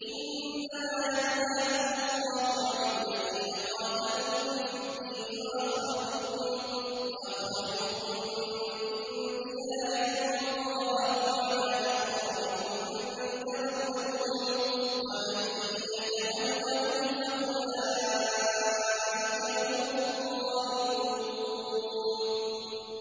إِنَّمَا يَنْهَاكُمُ اللَّهُ عَنِ الَّذِينَ قَاتَلُوكُمْ فِي الدِّينِ وَأَخْرَجُوكُم مِّن دِيَارِكُمْ وَظَاهَرُوا عَلَىٰ إِخْرَاجِكُمْ أَن تَوَلَّوْهُمْ ۚ وَمَن يَتَوَلَّهُمْ فَأُولَٰئِكَ هُمُ الظَّالِمُونَ